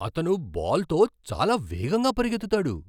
అతను బాల్తో చాలా వేగంగా పరిగెత్తుతాడు!